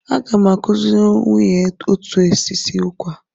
Aga m akụziri nwunye otu esi esi ụkwa.